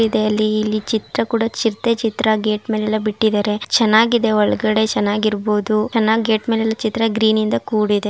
ಇದರಲ್ಲಿ ಇಲ್ಲಿ ಚಿತ್ರಕೂಡ ಚಿರತೆ ಚಿತ್ರ ಗೇಟ್ ಮೇಲೆ ಎಲ್ಲ ಬಿಟ್ಟಿದ್ದಾರೆ ಚೆನ್ನಾಗಿದೆ ಒಳಗಡೆ ಚೆನ್ನಾಗಿರಬಹುದು ಚೆನ್ನಾಗಿ ಗೇಟ್ ಮೇಲೆಲ್ಲಾ ಚಿತ್ರ ಗ್ರೀನ್ ಯಿಂದ ಕೂಡಿದೆ.